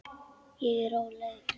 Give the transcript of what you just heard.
Ég er róleg.